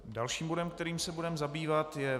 Dalším bodem, kterým se budeme zabývat je